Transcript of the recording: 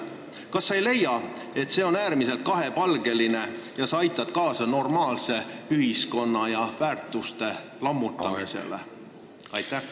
Kas sa ei leia, et see on äärmiselt kahepalgeline ja sa aitad kaasa normaalse ühiskonna ja normaalsete väärtuste lammutamisele?